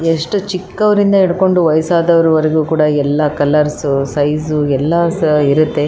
ಎಷ್ಟು ಚಿಕ್ಕವ್ರಿಂದ ಹಿಡ್ಕೊಂಡು ವಯಸ್ಸಾದವ್ರು ವರ್ಗೂ ಕೂಡ ಎಲ್ಲ ಕಲರ್ಸ್ ಸೈಜ಼್ ಎಲ್ಲ ಇರ್ರುತ್ತೆ.